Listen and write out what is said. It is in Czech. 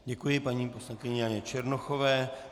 Děkuji paní poslankyni Janě Černochové.